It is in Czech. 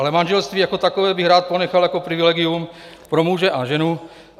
Ale manželství jako takové bych rád ponechal jako privilegium pro muže a ženu.